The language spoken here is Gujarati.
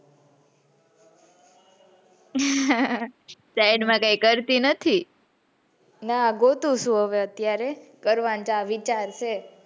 ઉહ side માં કઈ કરતી નથી. ના ગોતું સુ હવે અત્યારે કરવાનો વિચાર છે.